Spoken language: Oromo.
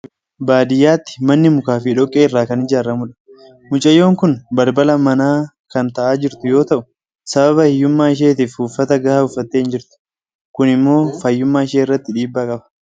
Baadiyaatti manni mukaa fi dhoqqee irraa kan ijaaramudha. Mucayyoon kun balbala manaa kan taa'aa jirtu yoo ta'u, sababa hiyyummaa isheetiif uffata gahaa uffattee hin jirtu. Kun immoo fayyummaa ishii irratti dhiibbaa qaba.